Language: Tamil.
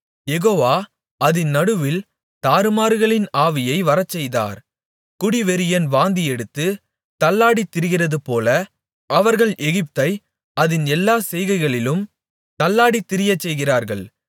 யெகோவா அதின் நடுவில் தாறுமாறுகளின் ஆவியை வரச்செய்தார் குடிவெறியன் வாந்தியெடுத்து தள்ளாடித் திரிகிறதுபோல அவர்கள் எகிப்தை அதின் எல்லாச்செய்கையிலும் தள்ளாடித் திரியச்செய்கிறார்கள்